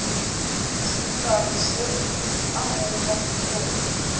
sehlare se a rongwa gore